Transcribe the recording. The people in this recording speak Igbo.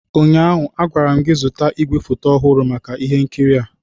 ụnyaahụ, a gwara m gị, zụta igwefoto ọhụrụ maka ihe nkiri a!